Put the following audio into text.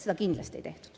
Seda kindlasti ei tehtud.